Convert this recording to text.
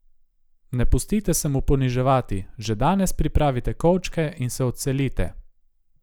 Ne pustite se mu poniževati, že danes pripravite kovčke in se odselite!